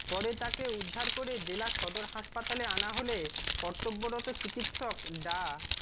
পরে তাকে উদ্ধার করে জেলা সদর হাসপাতালে আনা হলে কর্তব্যরত চিকিৎসক ডা